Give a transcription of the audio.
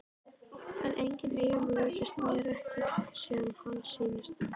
En einnig Eyjólfur virðist mér ekki sem hann sýnist.